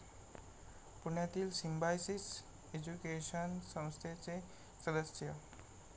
पुण्यातील Symbiosis education संस्थेचे सदस्य.